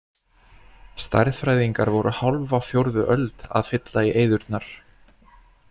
Stærðfræðingar voru hálfa fjórðu öld að fylla í eyðurnar.